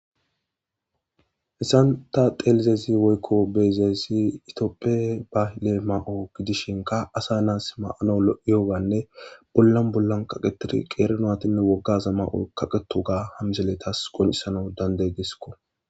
hessan ta xeelizezi woykko beezeesi itooppe bale ma7o gidishinka asa naas ma7ano lo7iyoganne bollan bollan qaqetiri qeerno atinne woggaza mao kaqeto ga hamzeletas qonisana dandey diskko